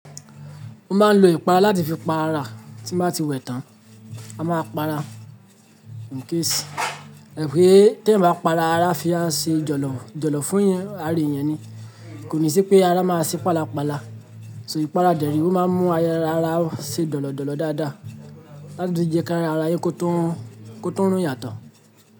Mo máa ń lo ìpara láti fi pa ara tí n bá ti wẹ̀ tán. A máa pa ara incase ẹ mọ̀ pé tí ẹ bá pa ara fi á ṣe jọ̀lọ̀ jọ̀lọ̀ fún un ara èèyàn ni. Kò ní sí pé ara máa ṣí pa la pa la. So ìpara dẹ re, ó máa ń mú aya ara ṣe jọ̀lọ̀ jọ̀lọ̀ dáadáa láti tún jẹ́ ká ara aye kó tún rún yà to.